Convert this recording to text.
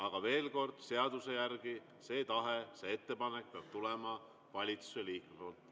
Aga veel kord: seaduse järgi see tahe, see ettepanek peab tulema valitsuse liikmelt.